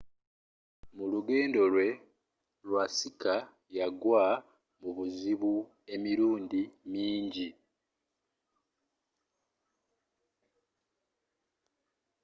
mulugendo lwe iwasaki yagwa mubuzibu emirundi minji